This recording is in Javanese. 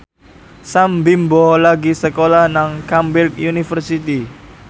Sam Bimbo lagi sekolah nang Cambridge University